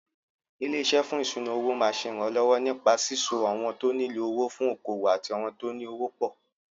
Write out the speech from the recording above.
Ilé-iṣé fún ìṣúnà-owó máa ṣe ìrànlọ́wọ́ nípa síso àwọn tó nílò owó fún okòwò àti àwọn tóní owó pọ̀.